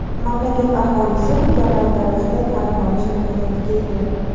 Mamlakat aholisi mukammal darajada ta’lim olish imkoniyatiga ega.